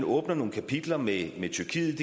åbnes nogle kapitler med tyrkiet